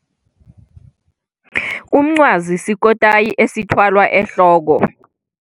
Umncwazi sikotayi esithwalwa ehloko.